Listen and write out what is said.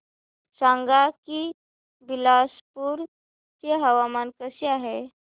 सांगा की बिलासपुर चे हवामान कसे आहे